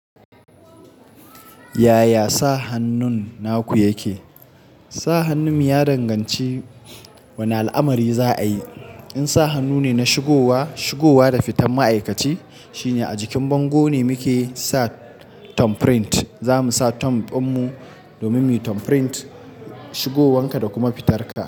Yaya sa hannun naku yake? Sa hannun ya danganci wane al'amari za a yi. In sa hannu ne na shigowa, shigowa da fitan ma'aikaci, shine a jikin bango ne muke sa thumbprint. Zamu sa thumb ɗin mu domin mu thumbprint shigowanka da kuma fitarka.